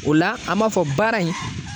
O la an b'a fɔ baara in